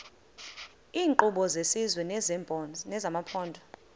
iinkqubo zesizwe nezamaphondo